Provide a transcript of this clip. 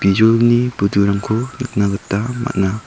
bijolini budurangko nikna gita man·a.